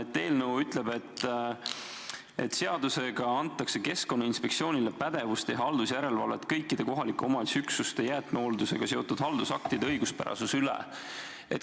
Eelnõu ütleb, et seadusega antakse Keskkonnainspektsioonile pädevus teha haldusjärelevalvet kõikide kohaliku omavalitsuse üksuste jäätmehooldusega seotud haldusaktide õiguspärasuse üle.